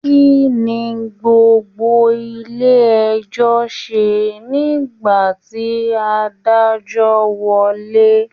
Kínní gbogbo ilé ẹjọ ṣe nígbà tí adájọ wọlé?